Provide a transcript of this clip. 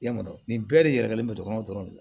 I y'a dɔn nin bɛɛ de yɛlɛgɛlen bɛ du kɔnɔ dɔrɔn de